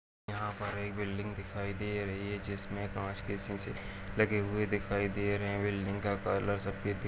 यहाँ पर एक बिल्डिंग दिखाई दे रही है जिसमे कांच के शीशे लगे हुए दिखाई दे रहें हैं बिल्डिंग का कलर सफेद दी --